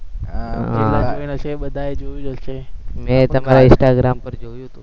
મે તમાર instagram પર જોયુ હતુ એ તો